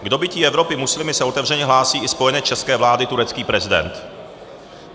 K dobytí Evropy muslimy se otevřeně hlásí i spojenec české vlády - turecký prezident.